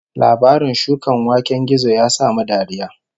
Labarin shukan waken gizo ya sa mu dariya